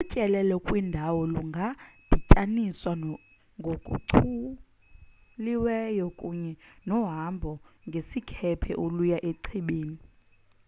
utyelelo kwindawo lungadityaniswa ngokuchuliweyo kunye nohambo ngesikhephe oluya echibini